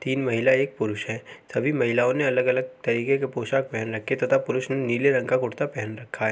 तीन महिला एक पुरुष हैं। सभी महिलाओं ने अलग-अलग तरीके के पोषाक पहन रखें तथा पुरुष ने नीले रंग का कुर्ता पेहेन रखा है।